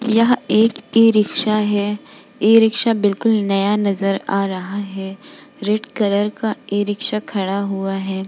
यह एक ई-रिक्सा है ई-रिक्सा बिलकुल नया नज़र आ रहा है रेड कलर का ई-रिक्सा खड़ा हुआ है।